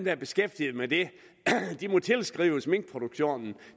er beskæftiget med det må tilskrives minkproduktionen